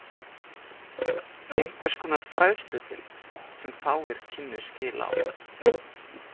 Einhvers konar fræðsludeild, sem fáir kynnu skil á.